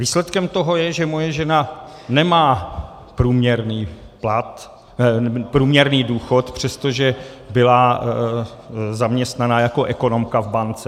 Výsledkem toho je, že moje žena nemá průměrný důchod, přestože byla zaměstnaná jako ekonomka v bance.